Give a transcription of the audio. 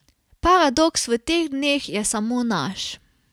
Paradoks v teh dneh je samo naš.